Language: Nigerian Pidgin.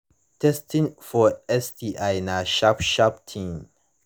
testing for sti na sharp sharp thing